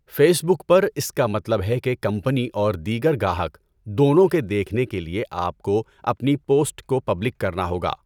Face بک پر اس کا مطلب ہے کہ کمپنی اور دیگر گاہک دونوں کے دیکھنے کے لیے آپ کو اپنی پوسٹ کو پبلک کرنا ہوگا۔